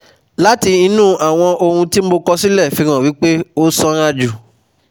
Láti inú àwọn ohun tí mo kọ sílẹ̀ fi hàn wí pé ó sanra jù